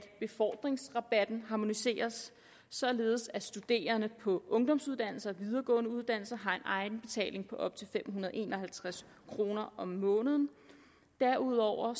befordringsrabatten harmoniseres således at studerende på ungdomsuddannelser og videregående uddannelser får egenbetaling på op til fem hundrede og en og halvtreds kroner om måneden derudover er